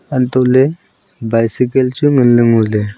hantohley bicycle chu nganlay ngoley.